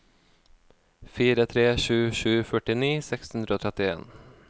fire tre sju sju førtini seks hundre og trettien